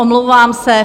Omlouvám se.